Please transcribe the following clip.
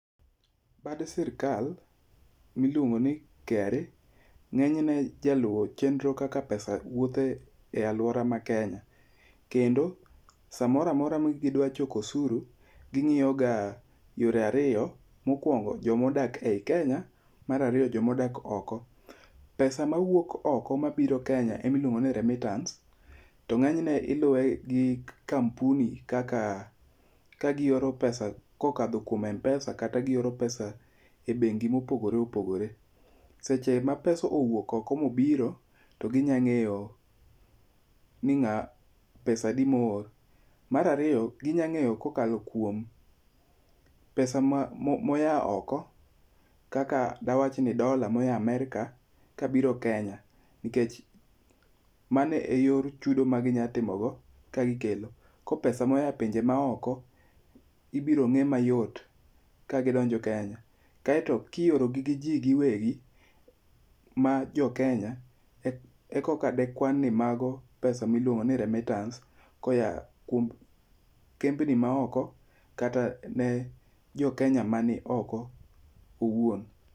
Bad sirkal, miluongo ni KRA, ng'enyne jaluwo chenro kaka pesa wuothe e alwora ma Kenya. Kendo, samoro amora ma gidwa choko osuru, ging'iyo ga yore ariyo, mokwongo jomodake ei Kenya, mar ariyo jomodak oko. Pesa mawuok oko mabiro Kenya emiluongo ni remittance, to ng'enyne iluwe gi kampuni kaka, kagioro pesa kokadho kuom m-pesa kata gioro pesa e bengi mopogore opogore. Seche ma pesa owuok oko mobiro, to ginyang'eyo ni ng'a pesadi moor. Mar ariyo, ginyang'eyo kokalo kuom pesa ma moya oko, kaka dawach ni dola moya Amerka kabiro Kenya nikech, mane e yor chudo maginyatimo go kagikelo. Ko pesa moya pinje maoko, ibiro ng'e mayot, ka gidonjo Kenya. Kaeto kiorogi gi jii giwegi ma jokenya, ekoka dekwan ni mago pesa miluogo ni remittance koya kuom kembni maoko, kata ne jokenya mani oko owuon